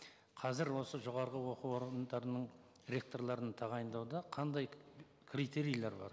қазір осы жоғарғы оқу орындарының ректорларын тағайындауда қандай критерийлер бар